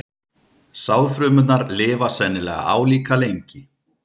Sáðfrumurnar lifa sennilega álíka lengi.